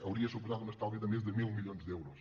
hauria suposat un estalvi de més de mil milions d’euros